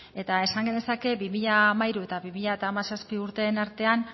eta esan genezake bi mila hamairu eta bi mila hamazazpi urteen artean